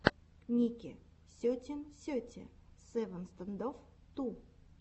ники сетин сети севен стэндофф ту